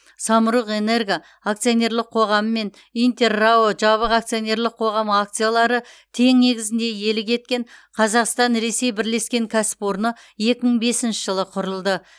самұрық энерго акционерлік қоғамы мен интер рао жабық акционерлік қоғамы акциялары тең негізінде иелік еткен қазақстан ресей бірлескен кәсіпорны екі мың бесінші жылы құрылды